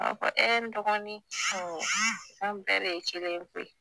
A b'a fɔ ee n dɔgɔnin ɔɔ an bɛɛ de ye kelen ye koyi